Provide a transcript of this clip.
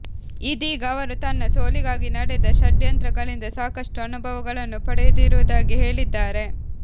ಇದೀಗ ಅವರು ತನ್ನ ಸೋಲಿಗಾಗಿ ನಡೆದ ಷಡ್ಯಂತ್ರಗಳಿಂದ ಸಾಕಷ್ಟು ಅನುಭವಗಳನ್ನು ಪಡೆದಿರುವುದಾಗಿ ಹೇಳಿದ್ದಾರೆ